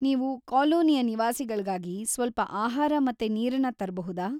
ನೀವು ಕಾಲೋನಿಯ ನಿವಾಸಿಗಳ್ಗಾಗಿ ಸ್ವಲ್ಪ ಆಹಾರ ಮತ್ತೆ ನೀರನ್ನ ತರ್ಬಹುದಾ?